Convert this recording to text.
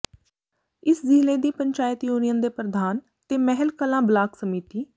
ਇਸ ਜ਼ਿਲ੍ਹੇ ਦੀ ਪੰਚਾਇਤ ਯੂਨੀਅਨ ਦੇ ਪ੍ਰਧਾਨ ਤੇ ਮਹਿਲ ਕਲਾਂ ਬਲਾਕ ਸਮਿਤੀ